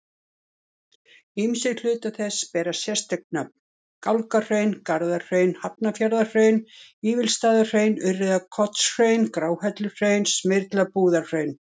Ýmsir hlutar þess bera sérstök nöfn, Gálgahraun, Garðahraun, Hafnarfjarðarhraun, Vífilsstaðahraun, Urriðakotshraun, Gráhelluhraun, Smyrlabúðarhraun.